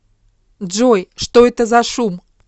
джой что это за шум